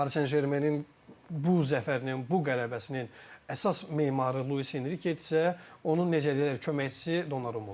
Paris Saint-Germainin bu zəfərinin, bu qələbəsinin əsas memarı Luis Enrikedirsə, onun necə deyərlər, köməkçisi Donnarumma olub.